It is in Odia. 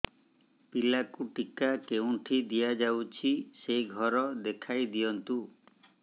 ପିଲାକୁ ଟିକା କେଉଁଠି ଦିଆଯାଉଛି ସେ ଘର ଦେଖାଇ ଦିଅନ୍ତୁ